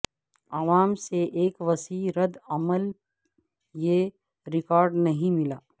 عوام سے ایک وسیع ردعمل یہ ریکارڈ نہیں ملا